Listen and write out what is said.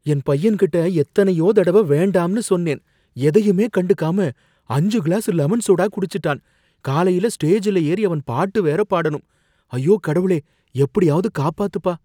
என் பையன்கிட்ட எத்தனையோ தடவ வேண்டாம்னு சொன்னேன், எதையுமே கண்டுக்காம அஞ்சு கிளாஸ் லெமன் சோடா குடிச்சுட்டான், காலையில ஸ்டேஜ்ல ஏறி அவன் பாட்டு வேற பாடணும், ஐயோ! கடவுளே! எப்படியாவது காப்பாத்துப்பா!